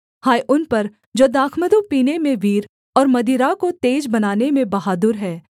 हाय उन पर जो दाखमधु पीने में वीर और मदिरा को तेज बनाने में बहादुर हैं